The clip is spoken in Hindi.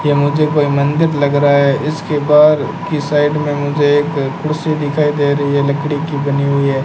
ये मुझे कोई मंदिर लग रहा है इसके बहार की साइड में मुझे एक कुर्सी दिखाई दे रही है लकड़ी की बनी हुई है।